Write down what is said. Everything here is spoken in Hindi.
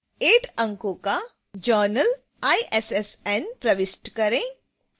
8 अंको का journal issn 00468991 प्रविष्ट करें